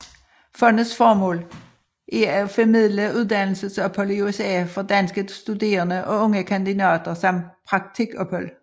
Fondets formål er at formidle uddannelsesophold i USA for danske studerende og unge kandidater samt praktikophold